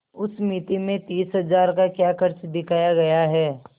उस मिती में तीस हजार का क्या खर्च दिखाया गया है